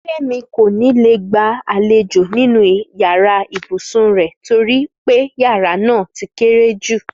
Fẹ́mi kò ní lè gba àlejò nínú yàrá ibùsùn rẹ̀ torí pé yàrá náà ti kéré jù